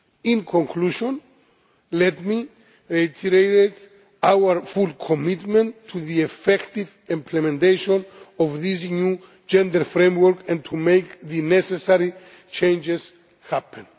In conclusion, let me reiterate our full commitment to the effective implementation of this new gender framework and to making the necessary changes happen.